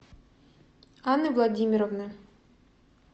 анны владимировны